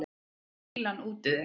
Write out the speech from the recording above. Fýlan út úr þér!